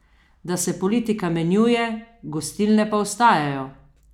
Da se politika menjuje, gostilne pa ostajajo!